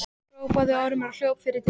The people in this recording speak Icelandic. hrópaði Ormur og hljóp fyrir dyrnar.